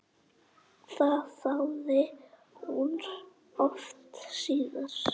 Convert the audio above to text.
Það þáði hún oft síðar.